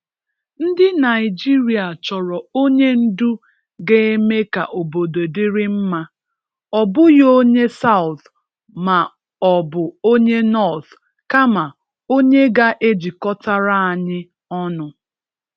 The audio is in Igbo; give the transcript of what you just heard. Ndị Naịjịrịa chọrọ onye ndu ga-eme ka obodo dịrị mma, ọ bụghị ‘onye South’ ma ọ bụ ‘onye North’ kama onye ga-ejikọtara anyị ọnụ.